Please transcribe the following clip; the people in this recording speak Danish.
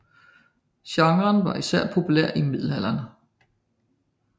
Genren var især populær i middelalderen